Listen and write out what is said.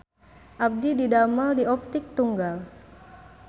Abdi didamel di Optik Tunggal